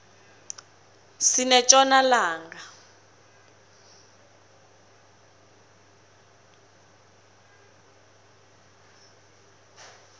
sinetjona langa